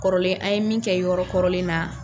Kɔrɔlen an ye min kɛ yɔrɔ kɔrɔlen na.